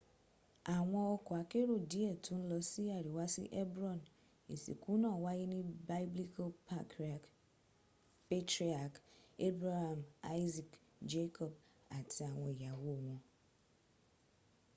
àwọn ọkọ́ akérò díẹ̀ tó ń lọ sí àríwá sí hebron ìsìnkú náà wáyé ní biblical patriarch abraham isaac jacob àti àwọn ìyàwó wọn